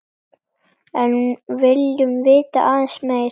En viljum vita aðeins meira.